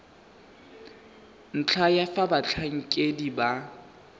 ntlha ya fa batlhankedi ba